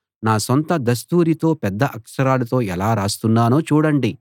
నా సొంత దస్తూరీతో పెద్ద అక్షరాలతో ఎలా రాస్తున్నానో చూడండి